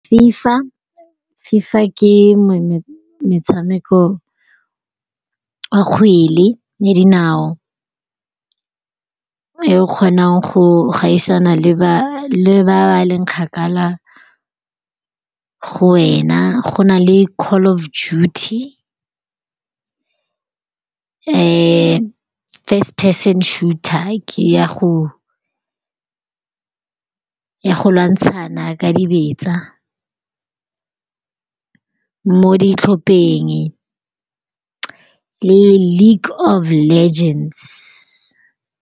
Fifa. Fifa ke motshameko wa kgwele ya dinao e o kgonang go gaisana le ba ba leng kgakala go wena. Go na le Call of Duty. First Person Shooter ke ya go lwantshana ka dibetsa mo ditlhopheng le League of Legends.